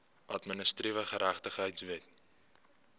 administratiewe geregtigheid wet